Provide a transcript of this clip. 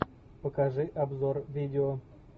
покажи обзор видео